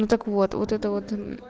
ну так вот вот это вот